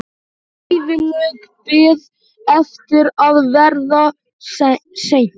Ævilöng bið eftir að verða send.